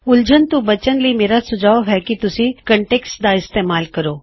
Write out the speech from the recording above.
ਹੁਣ ਤੁਸੀਂ ਇਸ ਵਿੱਚ ਉਲਝੋ ਨਾ ਮੈਂ ਤੁਹਾਨੂੰ ਸਲਾਹ ਦਿੰਦਾ ਹਾਂ ਕੀ ਤੁਸੀਂ ਇਸ ਕੋਨਟੈੱਕਸਟ ਦਾ ਇਸਤੇਮਾਲ ਕਰੋ